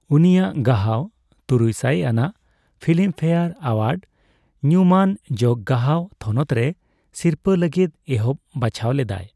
ᱩᱱᱤᱭᱟᱜ ᱜᱟᱦᱟᱣ ᱛᱩᱨᱩᱭ ᱥᱟᱭ ᱟᱱᱟᱜ ᱯᱷᱤᱞᱤᱢ ᱯᱷᱮᱭᱟᱨ ᱮᱣᱟᱨᱰᱥ ᱧᱩᱢᱢᱟᱱ ᱡᱚᱜ ᱜᱟᱦᱟᱣ ᱛᱷᱚᱱᱚᱛ ᱨᱮ ᱥᱤᱨᱯᱟᱹ ᱞᱟᱹᱜᱤᱫ ᱮᱦᱚᱵ ᱵᱟᱪᱷᱟᱣ ᱞᱮᱫᱟᱭ ᱾